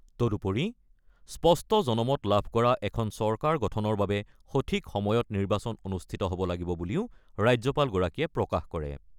তদুপৰি স্পষ্ট জনমত লাভ কৰা এখন চৰকাৰ গঠনৰ বাবে সঠিক সময়ত নিৰ্বাচন অনুষ্ঠিত হ'ব লাগিব বুলিও ৰাজ্যপালগৰাকীয়ে প্ৰকাশ কৰে।